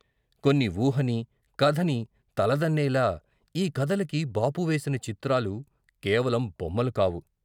కొన్ని ఊహని, కథని తలదన్నేలా ఈ కథలకి బాపు వేసిన చిత్రాలు కేవలం బొమ్మలు కావు.